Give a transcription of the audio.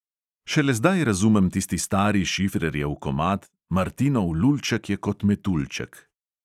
Šele zdaj razumem tisti stari šifrerjev komad "martinov lulček je kot metuljček".